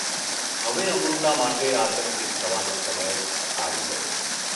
હવે અમૃતા માટે આતંકીત થવાનો સમય આવી ગયો.